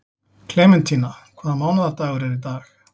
Klementína, hvaða mánaðardagur er í dag?